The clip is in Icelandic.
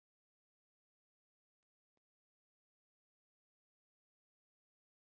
erfitt er að fullyrða um ástæðuna